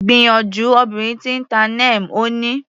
Gbìyànjú obìnrin tí ń ta Neem, Ó ní.